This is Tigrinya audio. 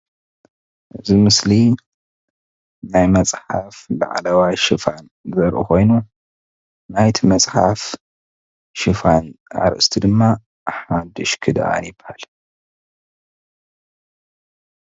እዚ ምስሊ ናይ መፅሓፍ ላዕለዋይ ሽፋን ዘርኢ ኮይኑ ናይ እቲ መፅሓፍ ሽፋን አርእስቲ ድማ ሓዱሽ ክዳን ይበሃል።